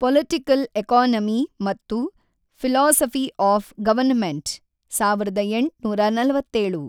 Political economy ಮತ್ತು philosophy of government ಸಾವಿರದ ಎಂಟುನೂರ ನಲವತ್ತೇಳು.